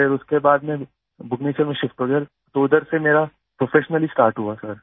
फिर उसके बाद में भुबनेश्वर में शिफ्ट हो गया तो उधर से मेरा प्रोफेशनली स्टार्ट हुआ सर